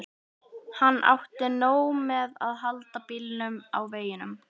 Hann átti nóg með að halda bílnum á veginum.